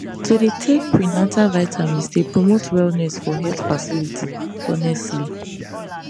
to dey take prenatal vitamins dey promote wellness for health facilities honestly